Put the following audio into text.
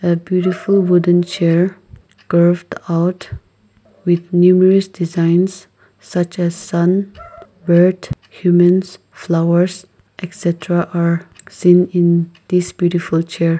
the beautiful wooden chair craft out with numerous designs such as sun bird humans flowers etc are seen in this beautiful chair.